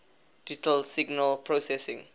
digital signal processing